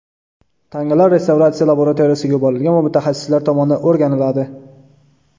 Tangalar restavratsiya laboratoriyasiga yuborilgan va mutaxassislar tomonidan o‘rganiladi.